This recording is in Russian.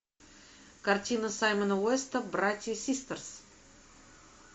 картина саймона уэста братья систерс